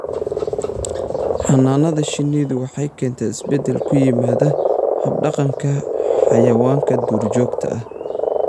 Xannaanada shinnidu waxay keentaa isbeddel ku yimaada hab-dhaqanka xayawaanka duurjoogta ah.